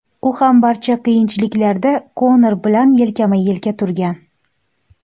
U ham barcha qiyinchiliklarda Konor bilan yelkama-yelka turgan.